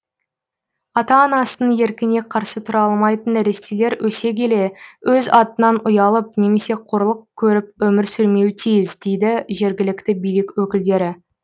ата анасының еркіне қарсы тұра алмайтын нәрестелер өсе келе өз атынан ұялып немесе қорлық көріп өмір сүрмеуі тиіс дейді жергілікті билік өкілдері